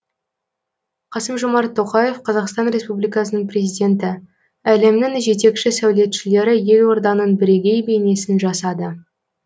қасым жомарт тоқаев қазақстан республикасының президенті әлемнің жетекші сәулетшілері елорданың бірегей бейнесін жасады